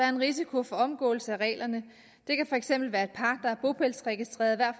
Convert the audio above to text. en risiko for omgåelse af reglerne det kan for eksempel være et par der er bopælsregistreret hver